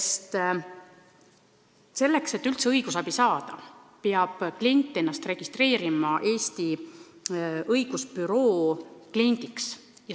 Sest selleks, et üldse õigusabi saada, peab inimene ennast registreerima Eesti Õigusbüroo kliendiks.